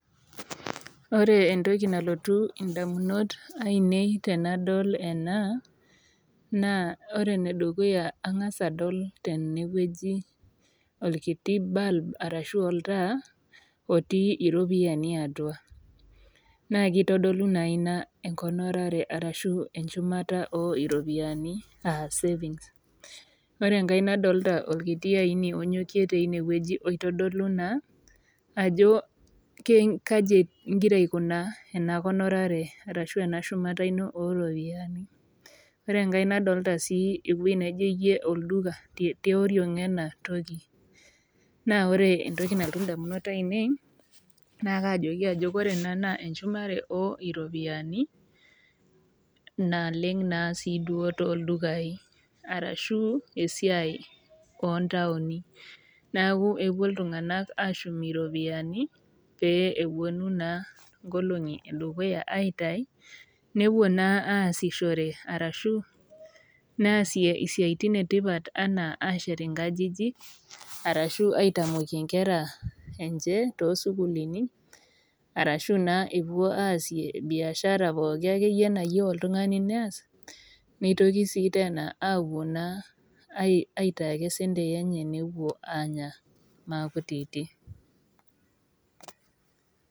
Ore entoki nalotu indamunot ainei tenadol ena naa ore enedukuya angas adol tenewueji orkiti bulb arashu oltaa otii iropiyiani atua naa kitodolu naa ina enkonorare ashu enchumata oropiyiani, aa savings . Ore enkae nadolta orkiti aini teine wueji oitodolu naa ajo kaji ingira aikunaa enakonorare ashu enashumata oropiyiani inonok. Ore enkae nadolta sii ewueji naijo olduka tioriong enatoki , naa ore entoki nalotu indamunot ainei naa kajoki ajo ore ena naa enchumare oropiyiani naleng siduo toldukai arashu esiai ontaoni . Naku epuo iltunganak ashum iropiyiani pee eponu naa inkolongi edukuya nepuo naa asishore ashu neasie isiatin etipat anaa inkajijik arashu aitamokie inkera enche tosukulini arashu naa epuo aasie biashara poki akeyie nayieu oltungani neas , nitoki sii tena apuo naa aitai ake sentei enye napuo naa anya maakutiti.